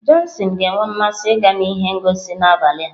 Johnson ga-enwe mmasị ịga ihe ngosi n'abalị a.